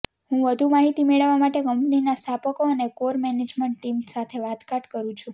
હું વધુ માહિતી મેળવવા માટે કંપનીના સ્થાપકો અને કોર મેનેજમેન્ટ ટીમ સાથે વાટાઘાટ કરું છું